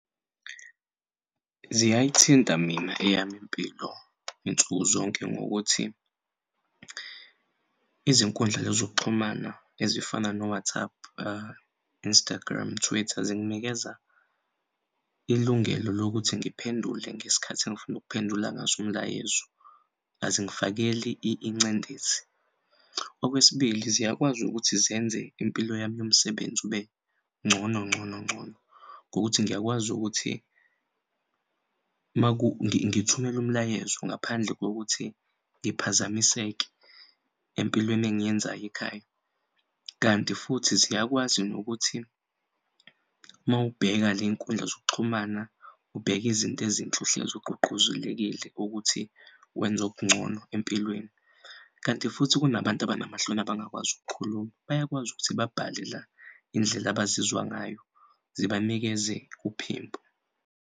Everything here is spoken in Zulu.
Ziyay'thinta mina eyami impilo nsuku zonke ngokuthi izinkundla zokuxhumana ezifana no-WhatsApp, Instagram, Twitter zinginikeza ilungelo lokuthi ngiphendule ngesikhathi engifuna ukuphendula ngaso umlayezo azingifakeli incindezi. Okwesibili, ziyakwazi ukuthi zenze impilo yami yomsebenzi ube ngcono ngcono ngcono ngokuthi ngiyakwazi ukuthi ngithumele umlayezo ngaphandle kokuthi ngiphazamiseke empilweni engiyenzay'ekhaya. Kanti futhi ziyakwazi nokuthi mawubheka lenkundla zokuxhumana ubheke izinto ezinhle uhlezi ugqugquzekile ukuthi wenze okungcono empilweni kanti futhi kunabantu abanamahloni abangakwazi ukukhuluma bayakwazi ukuthi babhale la indlela abazizwa ngayo zibanikeze uphimbo.